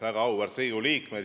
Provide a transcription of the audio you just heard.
Väga auväärt Riigikogu liikmed!